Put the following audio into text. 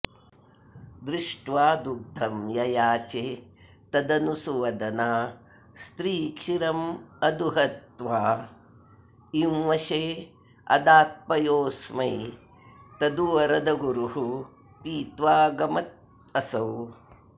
दृष्ट्वा दुग्धं ययाचे तदनु सुवदना स्त्रीः क्षीरमदुहद्वा इंवशेऽदात्पयोऽस्मै तदु वरदगुरुः पीत्वागमदसौ